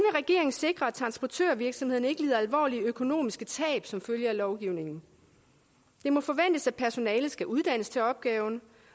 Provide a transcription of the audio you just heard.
sikre at transportvirksomheden ikke lider alvorlige økonomiske tab som følge af lovgivningen det må forventes at personalet skal uddannes til opgaven